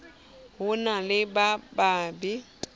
ho na le ba babe